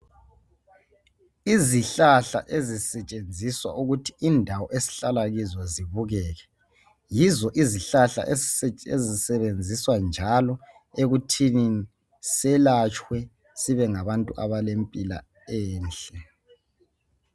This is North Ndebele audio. Izihlahla ezisetshenziswa ukuthi indawo esihlala kizo zibukeke yizo izihlahla ezisetshenziswa njalo ekuthini selatshwe sibe ngabantu abalempilo enhle.